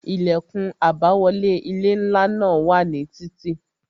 Ilẹkun àbáwọlé ilé ńlá náà wà ní títí